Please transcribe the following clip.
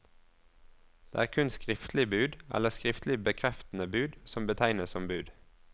Det er kun skriftlig bud, eller skriftlig bekreftende bud, som betegnes som bud.